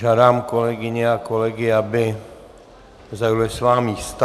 Žádám kolegyně a kolegy, aby zaujali svá místa.